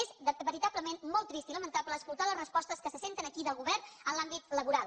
és veritablement molt trist i lamentable escoltar les respostes que se senten aquí del govern en l’àmbit laboral